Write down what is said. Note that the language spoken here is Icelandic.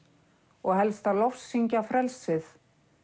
og helst að lofsyngja frelsið